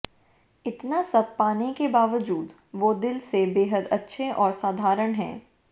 इतना सब पाने के बावजूद वो दिल से बेहद अच्छे और साधारण हैं